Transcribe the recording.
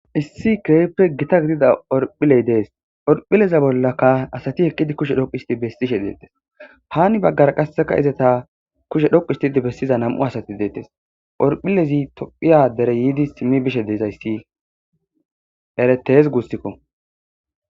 Issi keepre gita gidida orphiley dees orphileza bollaka asati heqqidi kushe dhoq isti bessishe deettes haani baggara qasseka izata kushe dhoquistidi bessiza nam'u asati deettes orphilezi tophiya dere yiidi simmi bishe dezayssi eretes gussikko